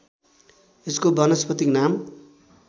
यसको वानस्पतिक नाम